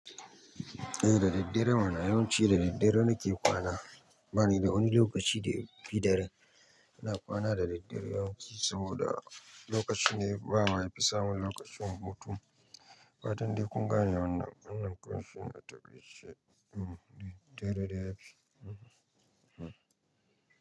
Eh da daddarem ana yawanci da daddare nake kwana banida wani lokaci daya fi daren. Ina kwana da daddare yawanci saboda lokacinne bawa yafi samun lokacin hutu. Fatan dai kun gane wannan wannan kawai shine a taƙaice. Eh, da daddare yafi.